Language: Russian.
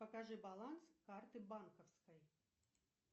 покажи баланс карты банковской